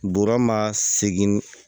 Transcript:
Bɔrɔ ma segin